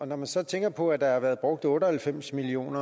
når man så tænker på at der har været brugt otte og halvfems million